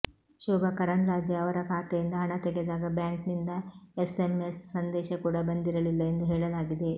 ಶೋಭಾ ಕರಂದ್ಲಾಜೆ ಅವರ ಖಾತೆಯಿಂದ ಹಣ ತೆಗೆದಾಗ ಬ್ಯಾಂಕ್ನಿಂದ ಎಸ್ಎಂಎಸ್ ಸಂದೇಶ ಕೂಡ ಬಂದಿರಲಿಲ್ಲ ಎಂದು ಹೇಳಲಾಗಿದೆ